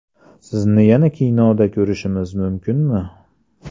Sizni yana kinoda ko‘rishimiz mumkinmi?